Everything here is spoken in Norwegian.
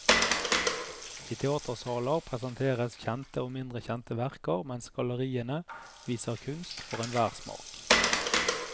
I teatersaler presenteres kjente og mindre kjente verker, mens galleriene viser kunst for enhver smak.